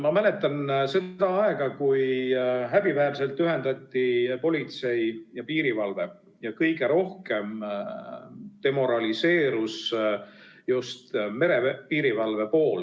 Ma mäletan aega, kui häbiväärselt ühendati politsei ja piirivalve ja kõige rohkem demoraliseerus just merepiirivalve.